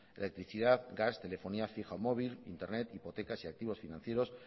electricidad gas telefonía fija o móvil internet hipotecas y activos financieros